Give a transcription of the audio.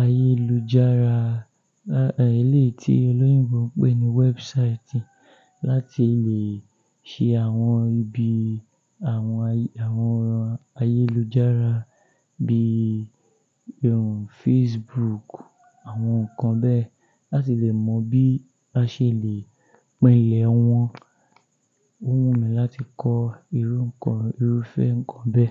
ayélujára, eléyìí tí olóyìnbó ń pè ní website láti lè ṣe àwọn ibi àwọn, àwọn ayélujára bí i Facebook, àwọn nǹkan bẹ́ẹ̀, láti lè mọ bí a ṣe lè pínlẹ̀ wọn. Ó wù mí láti kọ́ irú nǹkan, irúfẹ́ nǹkan bẹ́ẹ̀